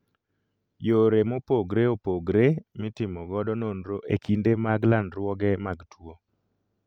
Yore mopogre opogre mitimo godo nonro ekinde mag landruoge mag tuo